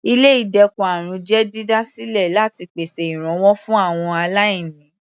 Ilé ìdẹ́kun àrùn jẹ́ dídá sílẹ láti pèsè ìrànwọ́ fún àwọn aláìní.